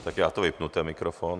Tak já to vypnu, ten mikrofon.